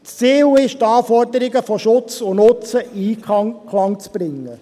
Ziel ist es, die Anforderungen von Schutz und Nutzen in Einklang bringen.